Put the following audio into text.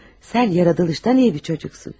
Sən yaradılışdan yaxşı bir uşaqsan.